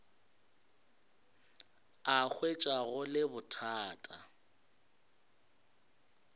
a hwetša go le bothata